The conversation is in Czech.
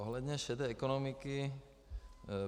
Ohledně šedé ekonomiky.